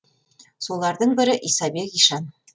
солардың бірі исабек ишан